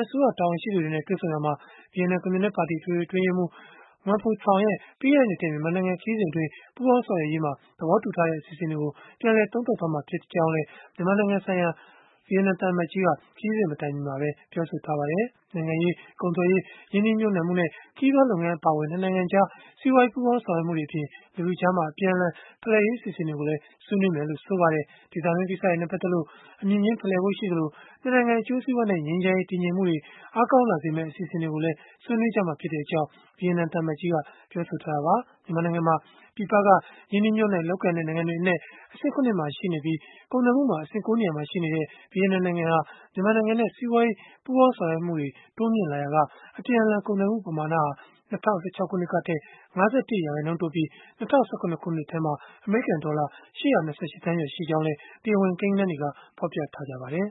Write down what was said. င်းဆောင်တွေ တွေ့ဆုံရာမှာ ဗီယက်နမ်ကွန်မြူနစ်ပါတီ အထွေထွေ အတွင်းရေးမှူး Nguyen Phu Trong ရဲ့ ပြီးခဲ့တဲ့နှစ်ထဲ မြန်မာနိုင်ငံ ခရီးစဉ်အတွင်း ပူးပေါင်းဆောင်ရွက်ရေး သဘောတူထားတဲ့ အစီအစဉ်တွေကို ပြန်လည်သုံးသပ်ကြမှာ ဖြစ်ကြောင်းလည်း မြန်မာနိုင်ငံဆိုင်ရာ ဗီယက်နမ်သံအမတ်ကြီး Luan Thuy Duong က ခရီးစဉ် မတိုင်မီမှာပဲ ပြောဆိုထားပါတယ်။ နိုင်ငံရေး၊ ကုန်သွယ်ရေး၊ ရင်းနှီးမြှုပ်နှံမှု၊ ခရီးသွားလုပ်ငန်း အပါအဝင် ၂ နိုင်ငံကြား စီးပွားရေး ပူးပေါင်းဆောင်ရွက်မှုတွေအပြင် လူထုအကြား အပြန်အလှန် ဖလှယ်ရေး အစီအစဉ်တွေကိုလည်း ဆွေးနွေးလိမ့်မယ်လို့လည်း မျှော်လင့်ထားကြတာပါ။ ဒေသတွင်း ကိစ္စတွေနဲ့ ပတ်သက်လို့ အမြင်ချင်းဖလှယ်ဖို့ ရှိသလို၊ ၂ နိုင်ငံအကျိုးစီးပွားနဲ့ ငြိမ်းချမ်းရေး၊ တည်ငြိမ်မှုတွေ အားကောင်းလာစေမယ့် အစီအစဉ်တွေကိုလည်း ဆွေးနွေးကြမှာဖြစ်ကြောင်း ဗီယက်နမ်သံအမတ်ကြီးက ပြောပါတယ်။ မြန်မာနိုင်ငံမှာ ပြည်ပက ရင်းနှီးမြုပ်နှံလုပ်ကိုင်ကြတဲ့ နိုင်ငံတွေအနက် အဆင့် ၇ မှာရှိနေပြီး၊ ကုန်သွယ်မှုမှာ အဆင့် ၉ နေရာမှာရှိနေတဲ့ ဗီယက်နမ်နိုင်ငံဟာ မြန်မာနိုင်ငံနဲ့ စီးပွားရေး ပူးပေါင်းဆောင်ရွက်မှုတွေ တိုးမြှင့်လာရာက အပြန်အလှန် ကုန်သွယ်မှု ပမာဏဟာ ၂၀၁၆ ခုနှစ်ကထက် ၅၁ ရာခိုင်နှုန်းတိုးပြီး၊ ၂၀၁၇ ခုနှစ်ထဲမှာ အမေရိကန်ဒေါ်လာ ၈၂၈ သန်းကျော် ရှိခဲ့ကြောင်းလည်း တရားဝင် ကိန်းဂဏန်းတွေက ဖော်ပြကြပါတယ်